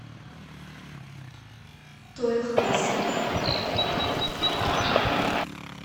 тоехаси